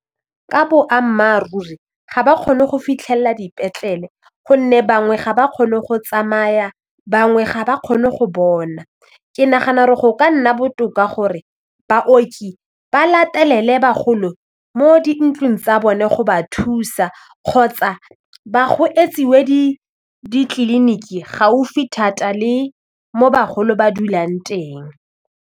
Ka boammaaruri ga ba kgone go fitlhelela dipetlele gonne bangwe ga ba kgone go tsamaya bangwe ga ba kgone go bona, ke nagana gore go ka nna botoka gore baoki ba latelele bagolo mo dintlong tsa bone go ba thusa kgotsa etsiwe ditleliniki gaufi thata le mo bagolo ba dulang teng.